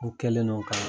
U kɛlen no ka